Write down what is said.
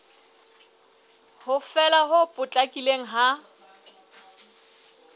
ho fela ho potlakileng ha